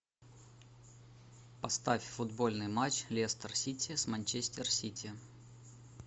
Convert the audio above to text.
поставь футбольный матч лестер сити с манчестер сити